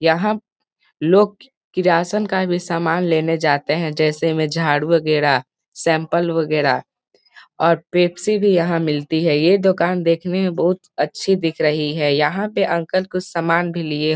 यहाँ पे लोग की किराना का भी समान लेने जाते है जैसे में झाड़ू वैगरह सेम्पल वैगरह और पेप्सी भी यहाँ मिलती है ये दुकान देखने में बहुत अच्छी दिख रही है यहाँ पे अंकल कुछ सामान भी लिए --